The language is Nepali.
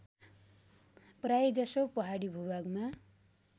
प्रायजसो पहाडी भूभागमा